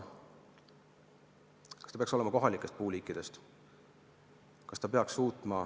Kas ta peaks koosnema kohalikest puuliikidest?